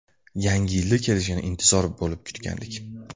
Yangi yilda kelishini intizor bo‘lib kutgandik.